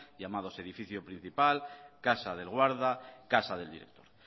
llamados edificio principal casa del guarda casa del director